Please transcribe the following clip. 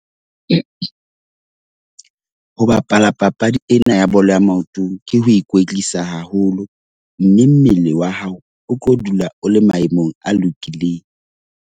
Ho bapala papadi ena ya bolo ya maoto ke ho ikwetlisa haholo, mme mmele wa hao o tlo dula o le maemong a lokileng.